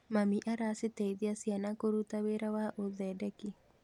Mami araciteithia ciana kũruta wĩra wa ũthendeki.